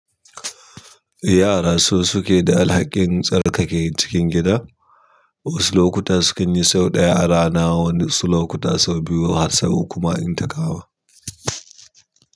Yara su suke da alhakin tsarkake cikin gida. Wasu lokuta su kan yi sau ɗaya a rana, wasu lokuta sau biyu har sau uku ma idan ta kama.